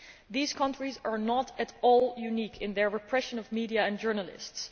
These countries are not at all unique in their repression of media and journalists.